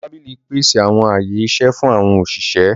Àwọn tábìlì pèsè àwọn ààyè iṣẹ fún àwọn òṣìṣẹ́.